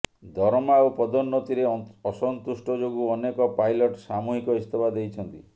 ଦରମା ଓ ପଦୋନ୍ନତିରେ ଅସନ୍ତୁଷ୍ଟ ଯୋଗୁ ଅନେକ ପାଇଲଟ୍ ସାମୁହିକ ଇସ୍ତଫା ଦେଇଛନ୍ତି